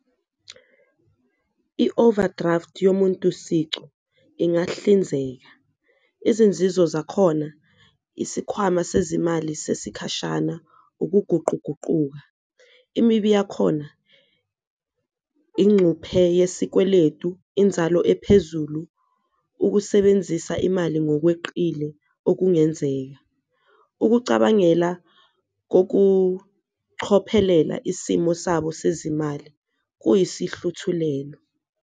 I-overdraft yomuntu sicu ingahlinzeka izinzizo zakhona, isikhwama sezimali sesikhashana, ukuguquguquka, imibi yakhona incuphe yesikweletu, inzalo ephezulu, ukusebenzisa imali ngokweqile okungenzeka, ukucabangela kokuchophelela isimo sabo sezimali kuyisihluthulelo.